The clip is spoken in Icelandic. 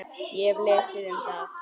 Ég hef lesið um það.